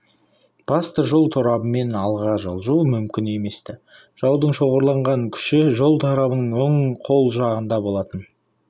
басты жол торабымен алға жылжу мүмкін еместі жаудың шоғырланған күші жол торабының оң қол жағында болатын